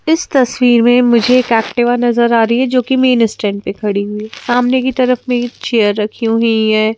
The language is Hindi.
इस तस्वीर में मुझे एक एक्टिवा नजर आ रही है जो की मेन स्टैंड पे खड़ी हुई सामने की तरफ में चेयर रखी हुई है।